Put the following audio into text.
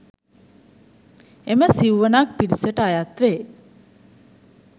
එම සිව්වනක් පිරිසට අයත් වේ.